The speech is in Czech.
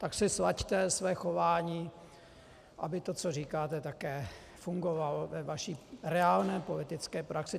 Tak si slaďte své chování, aby to, co říkáte, také fungovalo ve vaší reálné politické praxi.